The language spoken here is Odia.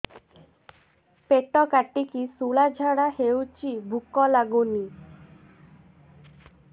ପେଟ କାଟିକି ଶୂଳା ଝାଡ଼ା ହଉଚି ଭୁକ ଲାଗୁନି